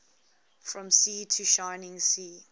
from sea to shining sea